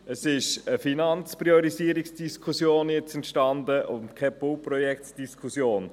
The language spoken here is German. Es ist jetzt eine Finanzpriorisierungsdiskussion entstanden und keine Bauprojektdiskussion.